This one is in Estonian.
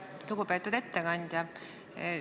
Lugupeetud ettekandja!